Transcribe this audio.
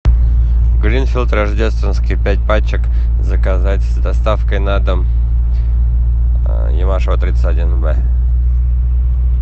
гринфилд рождественский пять пачек заказать с доставкой на дом ивашева тридцать один бэ